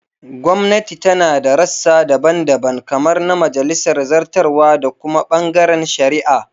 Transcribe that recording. Gwamnati tana da rassa daban-daban kamar na majalisa, zartarwa, da kuma bangaren shari'a.